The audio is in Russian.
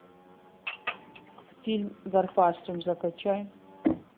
фильм гарпастум закачай